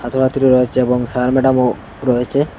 ছাত্রছাত্রী রয়েছে এবং স্যার ম্যাডাম -ও রয়েছে।